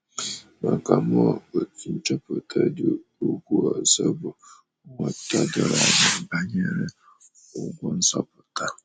Maka mụa, otu nchọpụta dị ukwuu ọzọ bụ nghọta doro anya banyere ụgwọ nzọpụta.